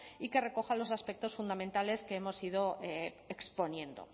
y que recoja los aspectos fundamentales que hemos ido exponiendo